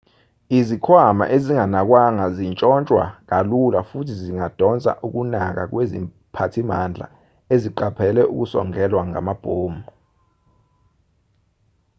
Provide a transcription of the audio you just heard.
izikhwama ezinganakwanga zitshontshwa kalula futhi zingadonsa ukunaka kweziphathimandla eziqaphele ukusongelwa ngamabhomu